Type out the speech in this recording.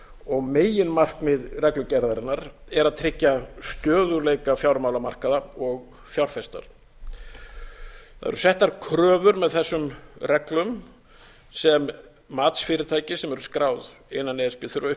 og meginmarkmið reglugerðarinnar er að tryggja stöðugleika fjármálamarkaða og fjárfesta það eru settar kröfur með þessum reglum sem matsfyrirtæki sem eru skráð innan e s b þurfa að